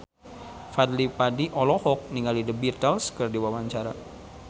Fadly Padi olohok ningali The Beatles keur diwawancara